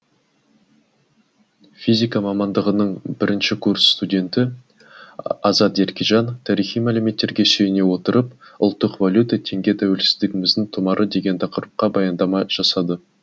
физика мамандығының бірінші курс студенті азат еркежан тарихи мәліметтерге сүйене отырып ұлттық валюта теңге тәуелсіздігіміздің тұмары деген тақырыпқа баяндама жасады